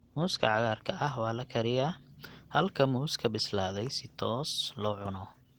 Muuska cagaarka ah waa la kariyaa, halka muuska bislaaday si toos loo cuno.